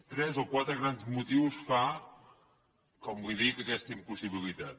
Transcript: tres o quatre grans motius fan com li dic aquesta impossibilitat